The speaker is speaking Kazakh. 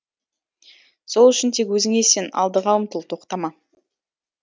сол үшін тек өзіңе сен алдыға ұмтыл тоқтама